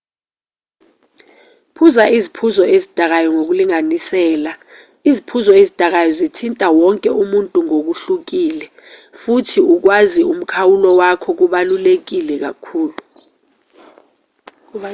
phuza iziphuzo ezidakayo ngokulinganisela iziphuzo ezidakayo zithinta wonke umuntu ngokuhlukile futhi ukwazi umkhawulo wakho kubaluleke kakhulu